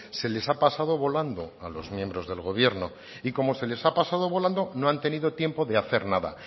se les ha pasado volando a los miembros del gobierno y como se les ha pasado volando no han tenido tiempo de hacer nada